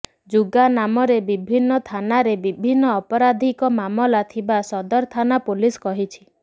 ଯୁଗା ନାମରେ ବିଭିନ୍ନ ଥାନାରେ ବିଭିନ୍ନ ଅପରାଧିକ ମାମଲା ଥିବା ସଦର ଥାନା ପୁଲିସ କହିଛି